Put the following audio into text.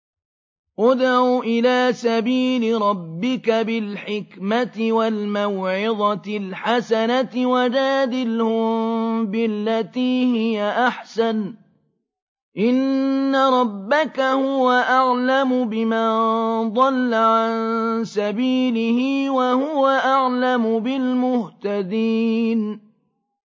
ادْعُ إِلَىٰ سَبِيلِ رَبِّكَ بِالْحِكْمَةِ وَالْمَوْعِظَةِ الْحَسَنَةِ ۖ وَجَادِلْهُم بِالَّتِي هِيَ أَحْسَنُ ۚ إِنَّ رَبَّكَ هُوَ أَعْلَمُ بِمَن ضَلَّ عَن سَبِيلِهِ ۖ وَهُوَ أَعْلَمُ بِالْمُهْتَدِينَ